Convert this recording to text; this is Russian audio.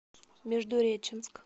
междуреченск